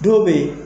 Dɔw bɛ yen